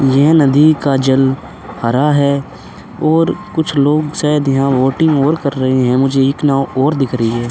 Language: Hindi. यह नदी का जल हरा है ओर कुछ लोग शायद यहाँ वोटिंग और कर रहे हैं। मुझे इक नाव और दिख रही है।